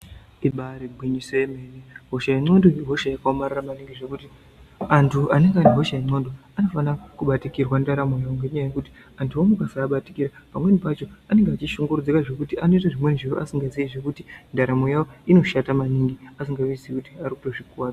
Ibaari gwinyiso yemene, hosha yendxondo ihosha yakaomarara maningi. Zvekuti antu anenge ane hosha yendxondo anofanira kubatikirwa ndaramo yawo. Ngendaa yekuti antuwo mukasaabatikira pamweni pacho anenge achishunguridzika zvekuti anoita zvinhu asingazii zvekuti ndaramo yawo inoshata maningi. Asingazvizii kuti ari kuzvikuwadza.